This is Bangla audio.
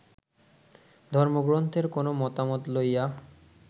ধর্মগ্রন্থের কোন মতামত লইয়া